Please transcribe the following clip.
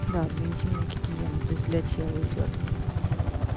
да для интимной гигиены для тела идёт